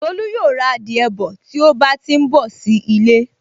Tolú yóò ra adìẹ bọ̀ tí ó bá ti n bọ̀ sí ilé